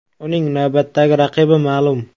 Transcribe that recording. Uning navbatdagi raqibi ma’lum.